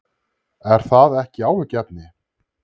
Er það ekki áhyggjuefni?